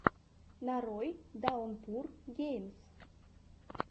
нарой даунпур геймс